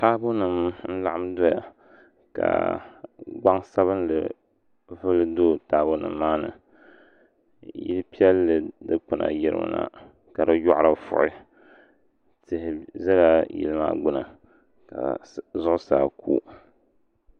Taabo nim n laɣam doya ka gbaŋsabinli ku do taabo nim maa ni yili piɛlli dikpuna yirimi na ka di yoɣari vuɣi tihi ʒɛla yili maa gbuni ka zuɣusaa ku